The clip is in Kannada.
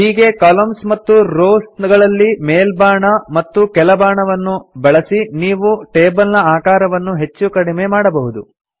ಹೀಗೆ ಕಾಲಮ್ನ್ಸ್ ಮತ್ತು ರೋವ್ಸ್ ಗಳಲ್ಲಿ ಮೇಲ್ಬಾಣ ಮತ್ತು ಕೆಳಬಾಣ ವನ್ನು ಬಳಸಿ ನೀವು ಟೇಬಲ್ ನ ಆಕಾರವನ್ನು ಹೆಚ್ಚು ಕಡಿಮೆ ಮಾಡಬಹುದು